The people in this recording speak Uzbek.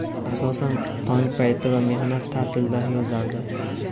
Asosan tong payti va mehnat ta’tilida yozardi.